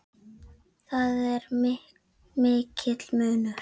Þar er mikill munur.